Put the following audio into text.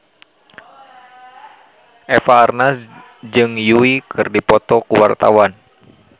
Eva Arnaz jeung Yui keur dipoto ku wartawan